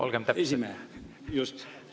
Olgem täpsed!